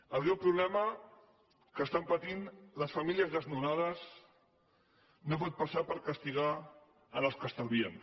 el greu problema que pateixen les famílies desnonades no pot passar per castigar els que estalvien